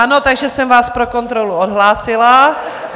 Ano, takže jsem vás pro kontrolu odhlásila.